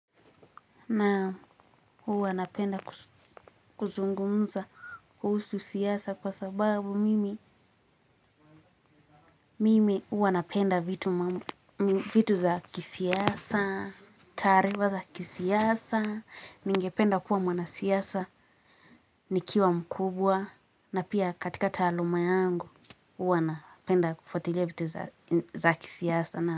Naam huwa napenda kuzungumza kuhusu siasa kwa sababu mimi mimi huwa napenda vitu za kisiasa, taarifa za kisiasa, ningependa kuwa mwanasiasa, nikiwa mkubwa, na pia katika taaluma yangu huwa napenda kufuatilia vitu za kisiasa na.